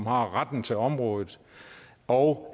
har retten til området og